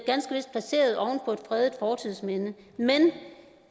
fredet fortidsminde men